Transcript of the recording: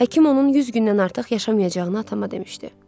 Həkim onun 100 gündən artıq yaşamayacağını atama demişdi.